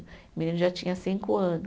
O menino já tinha cinco anos.